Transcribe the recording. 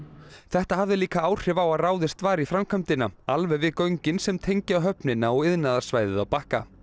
þetta hafði líka áhrif á að ráðist var í framkvæmdina alveg við göngin sem tengja höfnina og iðnaðarsvæðið á Bakka